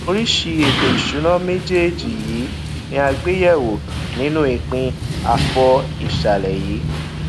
oríṣi ètò ìsúná méjèèjì yìí ní a gbé yẹ wò nínu ìpín afọ ìsàlẹ yìí